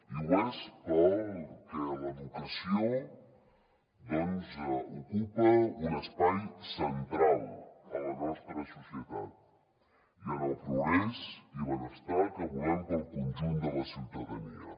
i ho és perquè l’educació doncs ocupa un espai central a la nostra societat i en el progrés i benestar que volem per al conjunt de la ciutadania